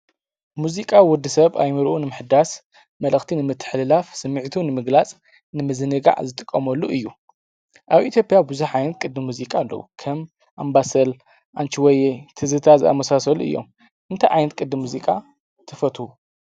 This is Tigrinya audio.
ሙዚቃ ወዲ ሰብ ኣእምሩኡ ንምሕዳስ መልእኽቲ ፣ንምትሕልላፍ ስሚዒቱ ንምግላፅ ንምዝንጋዕ ዝጥቀመሉ እዩ፡፡ ኣብ ኢትዮጵያ ብዙሓት ዓይነት ቅዲ ሙዚቃ ኣለው፡፡ ከም ኣባሰል፣ ኣንቺ ሆየ፣ ትዝታ ዝኣመሳሰሉ እዮም፡፡ እንታይ ዓይነት ቅዲ ሙዚቃ ትፈትው?